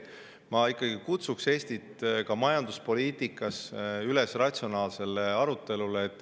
Ma ikkagi kutsun Eestit ka majanduspoliitikas üles ratsionaalsele arutelule.